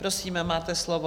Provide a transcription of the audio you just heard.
Prosím, máte slovo.